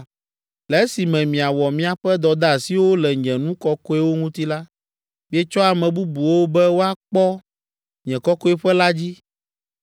Le esime miawɔ miaƒe dɔdeasiwo le nye nu kɔkɔewo ŋuti la, mietsɔ ame bubuwo be woakpɔ nye kɔkɔeƒe la dzi.’